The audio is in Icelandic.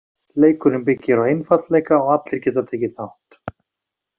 Leikurinn byggir á einfaldleika og allir geta tekið þátt.